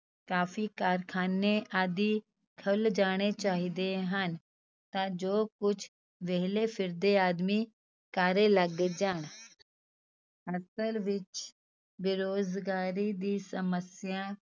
ਕਾਫ਼ੀ ਕਾਰਖਾਨੇ ਆਦਿ ਖੁੱਲ ਜਾਣੇ ਚਾਹੀਦੇ ਹਨ ਤਾਂ ਜੋ ਕੁੱਝ ਵਿਹਲੇ ਫਿਰਦੇ ਆਦਮੀ ਕਾਰੇ ਲੱਗ ਜਾਣ ਅਸਲ ਵਿੱਚ ਬੇਰੁਜ਼ਗਾਰੀ ਦੀ ਸਮੱਸਿਆ